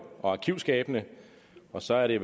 og arkivskabene og så er det